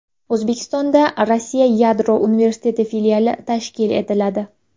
O‘zbekistonda Rossiya yadro universiteti filiali tashkil etiladi.